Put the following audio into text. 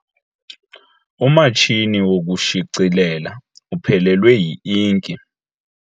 Umatshini wokushicilela uphelelwe yi-inki.